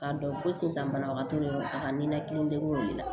K'a dɔn ko sisan banabagatɔ de do a ka nina kelen o de la